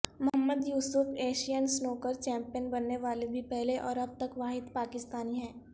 محمد Yousuf Asian snooker champion بننے والے بھی پہلے اور اب تک واحد پاکستانی ہیں